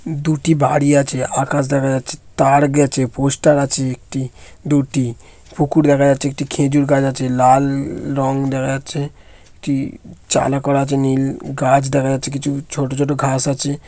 দুটি বাড়ি আছে। আকাশ দেখা যাচ্ছে। তার গেছে। পোস্টার আছে একটি দুটি পুকুর দেখা যাচ্ছে। একটি খেজুর গাছ আছে। লাল-ল রঙ দেখা যাচ্ছে । একটি চালা করা আছে নীল-ল। গাছ দেখা যাচ্ছে কিছু। ছোট ছোট ঘাস আছে।